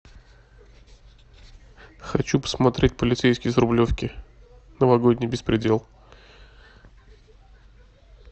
хочу посмотреть полицейский с рублевки новогодний беспредел